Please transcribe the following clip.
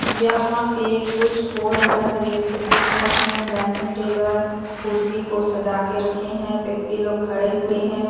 यहाँ पे कुछ हो रहा हैं जैसे दिख रहे हैं डैनिंग टेबल कुर्सी को सजा के रखे हैं व्यक्ति लोग खड़े हुए हैं।